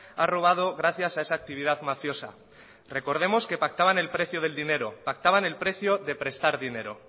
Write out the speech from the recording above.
ha robado gracias a esa actividad mafiosa recordemos que pactaban el precio del dinero pactaban el precio de prestar dinero